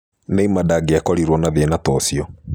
Neymar ndangĩakorirũo na thĩna ta ũcio.